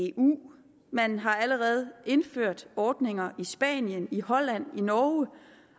eu man har allerede indført ordninger i spanien i holland i norge